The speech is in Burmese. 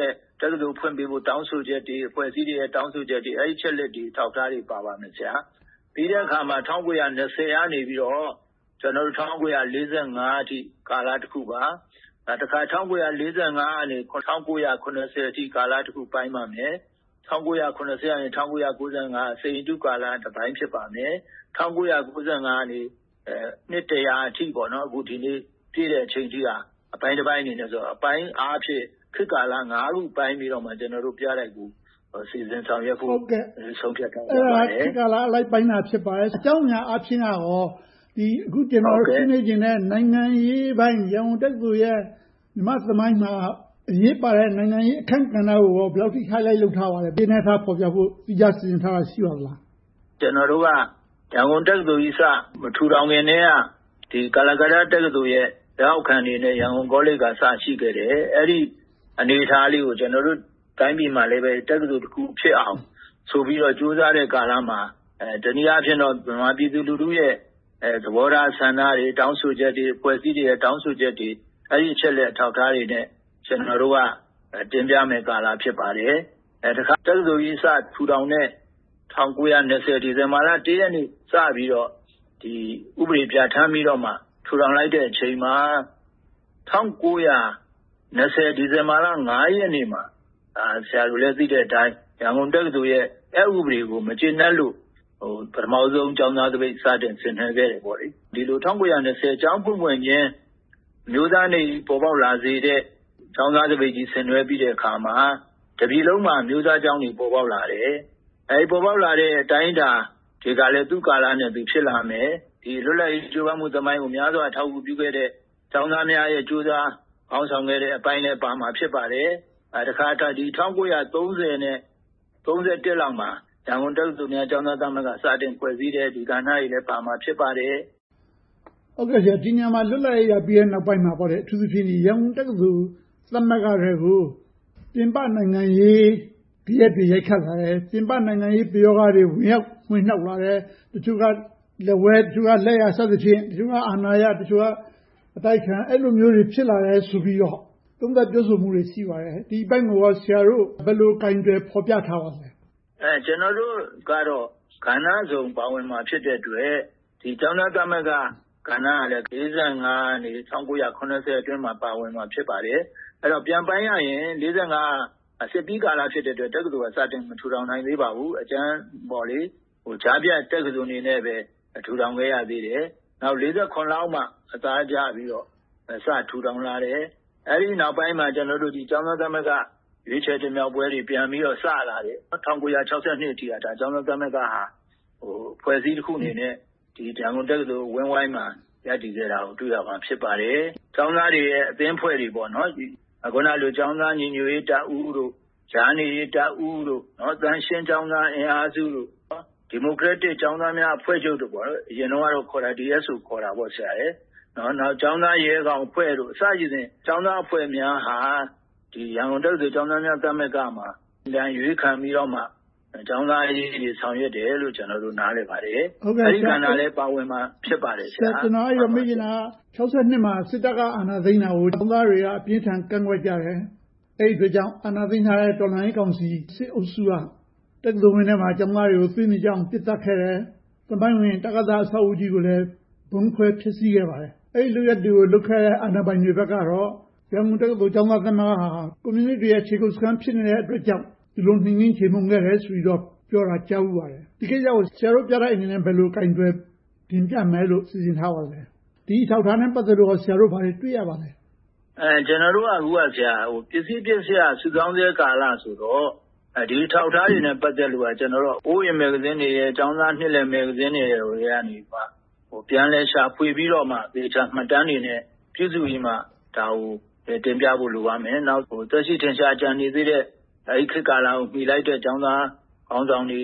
ရဲ့ တက္ကသိုလ်ဖွင့်ပေးဖို့ တောင်းဆိုချက်တွေ၊ အဖွဲ့အစည်းတွေရဲ့ တောင်းဆိုချက်တွေ အဲဒီအချက်အလက်တွေ အထောက်အထားတွေ ပါပါမယ်။ ပြီးတော့ ၁၉၂၀ ကနေ ၁၉၄၅ အထိ ကာလတစ်ခုပါ။ နောက် ၁၉၄၅ ကနေ ၁၉၇၀ အထိကာလ၊ ၁၉၇၀ ကနေ ၁၉၉၅ အထိ စိန်ရတုကာလက တစ်ပိုင်းဖြစ်ပါတယ်။ ၁၉၉၅ ကနေ နှစ် အထိ ဒီနေ့ ပြည့်အချိန်အထိက အပိုင်းတစ်ပိုင်းဆိုတော့ အပိုင်းအားဖြင့် ခေတ်ကာလ ပိုင်း ပိုင်းပြီးတော့ ကျနော်တို့ ပြတိုက်ကို စီစဉ်ဆောင်ရွက်ဖို့ ဆုံးဖြတ်ထားပါတယ်။ အဲဒါက ခေတ်ကာလအလိုက် ပိုင်းခြားထားတာ ဖြစ်ပါတယ်။ အကြောင်းအရာအားဖြင့်က ကျနော် အခုဆွေးနွေးချင်တဲ့ နိုင်ငံရေးပိုင်း၊ ရန်ကုန်တက္ကသိုလ်ရဲ့ မြန်မာ့သမိုင်းမှာ အရေးပါတဲ့ နိုင်ငံရေးအခန်းကဏ္ဍကို ဘယ်လောက်အထိ highlight လုပ်ထားပါသလဲ။ သီးခြားဖော်ပြဖို့ စီစဉ်ထားတာ ရှိပါသလား။ ကျနော်တို့က ရန်ကုန်တက္ကသိုလ်ကြီး စပြီးမထူထောင်ခင်ကတည်းက ကာလာကတ္တားတက္ကသိုလ်ရဲ့ လက်အောက်ခံအနေနဲ့ ရန်ကုန်တက္ကသိုလ်က စပြီးတော့ ရှိခဲ့တယ်။ အဲဒီအနေအထားလေးကိုလည်း ကျနော်တို့တိုင်းပြည်မှာ တက္ကသိုလ်တစ်ခုဖြစ်အောင် ဆိုပြီးတော့ ကြိုးစားတဲ့ကာလမှာ တနည်းအားဖြင့်တော့ ဗမာလူထုရဲ့ သဘောထားဆန္ဒတွေ၊ တောင်းဆိုချက်တွေ၊ အဖွဲ့အစည်းတွေရဲ့ တောင်းဆိုချက်တွေ၊ အဲဒီအချက်အလက် အထောက်အထားတွေနဲ့ ကျနော်တို့က တင်ပြမယ့်ကာလ ဖြစ်ပါတယ်။ တခါ တက္ကသိုလ်ကြီး စထူထောင်တဲ့ ၁၉၂၀ ဒီဇင်ဘာလ ရက်နေ့ စပြီးတော့ ဥပဒေပြဌာန်းပြီးတော့ ထူထောင်လိုက်တဲ့အချိန်မှာ ၁၉၂၀ ဒီဇင်ဘာလ ရက်နေ့မှာ ရန်ကုန်တက္ကသိုလ်ရဲ့ အက်ဥပဒေကို မကျေနပ်လို့ ပထမဦးဆုံး ကျောင်းသားသပိတ် စတင်ဆင်နွှဲခဲ့တယ်။ ဒီလို ၁၉၂၀ ကျောင်းဖွင့်ဖွင့်ချင်း အမျိုးသားနေ့ကြီး ပေါ်ပေါက်လာစေတဲ့ ကျောင်းသားသပိတ်ကြီး ဆင်နွှဲပြီးတဲ့အခါမှာ တစ်ပြည်လုံးမှာ ကျောင်းသားသပိတ်တွေ ပေါ်ပေါက်လာတယ်။ ပေါ်ပေါက်လာတဲ့ အတိုင်းအတာတွေကလည်း သူ့ကာလနဲ့သူ ဖြစ်လာမယ်။ လွတ်လပ်ရေးသမိုင်းကို များစွာအထောက်အကူပြုခဲ့တဲ့ ကျောင်းသားများရဲ့ ကြိုးစားခေါင်းဆောင်ခဲ့တဲ့အပိုင်းလည်း ပါမှာဖြစ်ပါတယ်။ တခါ ၁၉၃၀ နဲ့ ၁၉၃၁ လောက်မှာ ရန်ကုန်တက္ကသိုလ် ကျောင်းသားသမဂ္ဂ စတင်ဖွဲ့စည်းတဲ့ကဏ္ဍတွေလည်းပါမှာ ဖြစ်ပါတယ်။ ဒီနေရာမှာ လွတ်လပ်ရေးရပြီးနောက်ပိုင်းမှာ အထူးသဖြင့် ရန်ကုန်တက္ကသိုလ် ကျောင်းသားသမဂ္ဂထဲကို ပြင်ပနိုင်ငံရေးဂယက်တွေ ရိုက်ခတ်လာတယ်။ ပြင်ပနိုင်ငံရေးပယောဂတွေ ဝင်နှောက်လာတယ်။ တချို့က လက်ဝဲ၊ လက်ယာ စသည်ဖြင့် တချို့က အာဏာရ၊ တချို့က အတိုက်အခံ အဲဒီလိုမျိုးတွေ ဖြစ်လာတယ်ဆိုပြီးတော့ သုံးသပ်ပြောဆိုမှုတွေ ရှိပါတယ်။ ဒီအပိုင်းကို ဆရာတို့ ဘယ်လိုကိုင်တွယ်ဖော်ပြထားပါသလဲ။ ကျနော်တို့ကတော့ ကဏ္ဍစုံ ပါဝင်မှာ ဖြစ်တဲ့အတွက် ကျောင်းသားသမဂ္ဂကဏ္ဍကလည်း ၁၉၄၅ ကနေ ၁၉၇၀ အတွင်းမှာ ပါဝင်မှာ ဖြစ်ပါတယ်။ အဲဒီတော့ ၁၉၄၅ စစ်ပြီးကာလဖြစ်တဲ့အတွက် တက္ကသိုလ်က ပြန်ပြီးမထူထောင်နိုင်သေးပါဘူး။ ကြားဖြတ်တက္ကသိုလ်အနေနဲ့ပဲ ထူထောင်ခဲ့တယ်။ ၁၉၄၇ လောက်မှ အသားပြန်ကျပြီးတော့ ပြန်ထူထောင်လာတယ်။ အဲဒီနောက်ပိုင်းမှာ ကျနော်တို့ ကျောင်းသားသမဂ္ဂ ရွေးချယ်တင်မြှောက်ပွဲတွေ ပြန်ပြီးတော့ စလာတယ်။ ၁၉၆၂ အထိ ကျောင်းသားသမဂ္ဂ အဖွဲ့အစည်းတစ်ခုအနေနဲ့ ရန်ကုန်တက္ကသိုလ် အဝန်းအဝိုင်းမှာ ရပ်တည်ခဲ့တာကို တွေ့ရမှာ ဖြစ်ပါတယ်။ ကျောင်းသားတွေရဲ့ အသင်းအဖွဲ့တွေ။ အခုနလို ကျောင်းသားညီညွှတ်ရေးတပ်ဦး၊ ကြားနေတပ်ဦး၊ သန့်ရှင်းကျောင်းသားအင်အားစု၊ ဒီမိုကရက်တစ်ကျောင်းသားများအဖွဲ့ချုပ်။ အရင်တုန်းကတော့ DSO ခေါ်တာပေါ့။ ကျောင်းသားရဲခေါင်အဖွဲ့တို့ စတဲ့ ကျောင်းသားအဖွဲ့များဟာ ရန်ကုန်တက္ကသိုလ် ကျောင်းသားသမဂ္ဂမှာ ဝင်ရောက်ရွေးခံပြီးမှ ကျောင်းသားအရေးတွေ ဆောင်ရွက်တယ်လို့ ကျနော်တို့ နားလည်ပါတယ်။ အဲဒီကဏ္ဍလည်း ပါဝင်မှာ ဖြစ်ပါတယ်။ ကျနော် မေးချင်တာက ၁၉၆၂ မှာ စစ်တပ်က အာဏာသိမ်းတာကို ကျောင်းသားတွေက အပြင်းအထန် ကန့်ကွက်ကြတယ်။ အဲဒီအတွက်ကြောင့် အာဏာသိမ်းထားတဲ့ တော်လှန်ရေးကောင်စီ စစ်အုပ်စုက တက္ကသိုလ်ဝန်းထဲမှာ ကျောင်းသားတွေကို သွေးမြေကျအောင် ပစ်သတ်ခဲ့တယ်။ သမိုင်းဝင် တကသ အဆောက်အဦးကြီးကိုလည်း ဗုံခွဲဖျက်ဆီးခဲ့ပါတယ်။ အဲဒီလုပ်ရပ်တွေကို လုပ်ခဲ့တဲ့ အာဏာပိုင်တွေဘက်ကတော့ ရန်ကုန်တက္ကသိုလ် ကျောင်းသားသမဂ္ဂဟာ ကွန်မြူနစ်တွေရဲ့ ခြေကုပ်စခန်း ဖြစ်တယ်အတွက်ကြောင့် ဒီလိုနှိမ်နင်းချေမှုန်းခဲ့တယ်ဆိုပြီးတော့ ပြောတာကို ကြားဖူးပါတယ်။ ဒီကိစ္စကို ဆရာတို့ပြတိုက်အနေနဲ့ ဘယ်လိုကိုင်တွယ်တင်ပြမယ်လို့ စီစဉ်ထားပါသလဲ။ ဒီအထောက်အထားနဲ့ ပတ်သက်လို့ ဆရာတို့ ဘာတွေတွေ့ရပါသလဲ။ ကျနော်တို့က အခုက ပစ္စည်းပစ္စယ စုဆောင်းဆဲကာလဆိုတော့ ဒီအထောက်အထားတွေနဲ့ ပတ်သက်လို့ ကျနော်တို့က အိုဝေးမဂ္ဂဇင်းတွေ၊ ကျောင်းသားနှစ်လည် မဂ္ဂဇင်းတွေထဲကနေ ပြန်လည်ရှာဖွေပြီးတော့ သေချာမှတ်တမ်းတွေနဲ့ ပြုစုပြီးတော့မှ ဒါကိုတင်ပြဖို့ လိုပါတယ်။ နောက် သက်ရှိထင်ရှား ကျန်နေသေးတဲ့ အဲဒီခေတ်ကာလကို မှီလိုက်တဲ့ ကျောင်းသားခေါင်းဆောင်တွေ